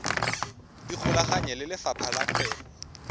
ikgolaganye le lefapha la kgwebo